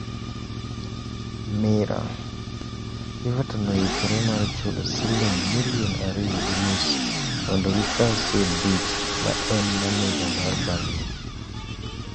(Mirror) Everton oikore mar chulo siling' milion ariyo gi nus mondo gikaw Sean Dyche ma en maneja mar Burnley.